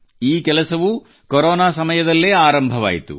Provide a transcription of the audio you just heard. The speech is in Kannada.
ಈ ಕೆಲಸವೂ ಕೊರೊನಾ ಸಮಯದಲ್ಲೇ ಆರಂಭವಾಯಿತು